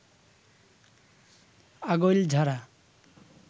Agailjhara